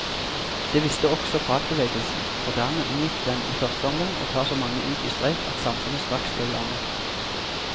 Det visste også fagbevegelsen, og dermed unngikk den i første omgang å ta så mange ut i streik at samfunnet straks ble lammet.